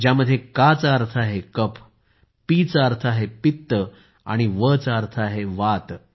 यात का चा अर्थ आहे कफ पीआय चा अर्थ आहे पित्त आणि Vaचा अर्थ आहे वात